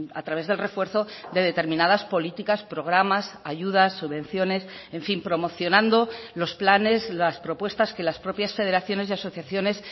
a través del refuerzo de determinadas políticas programas ayudas subvenciones en fin promocionando los planes las propuestas que las propias federaciones y asociaciones